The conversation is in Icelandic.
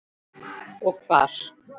Og hvar.